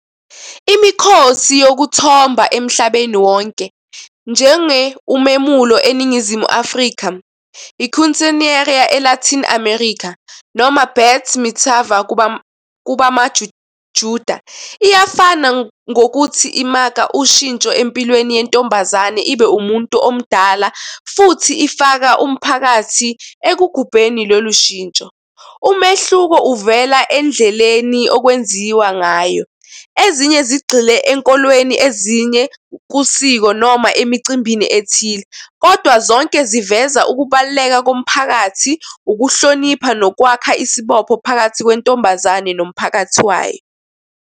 Imikhosi yokuthomba emhlabeni wonke njenge umemulo eNingizimu Afrika, i-quinceanera e-Latin America noma Bat mithava kubamaJuda. Iyafana ngokuthi imaka ushintsho empilweni yentombazane ibe umuntu omdala futhi ifaka umphakathi ekugubeni lolu shintsho. Umehluko uvela endleleni okwenziwa ngayo. Ezinye zigxile enkolweni, ezinye kusiko noma emicimbini ethile, kodwa zonke ziveza ukubaluleka komphakathi ukuhlonipha nokwakha isibopho phakathi kwentombazane nomphakathi wayo.